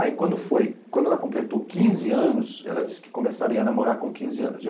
Aí quando foi... Quando ela completou quinze anos, ela disse que começaria a namorar com quinze anos.